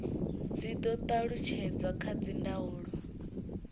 dzi do talutshedzwa kha dzindaulo